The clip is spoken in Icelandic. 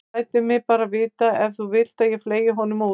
Þú lætur mig bara vita ef þú vilt að ég fleygi honum út.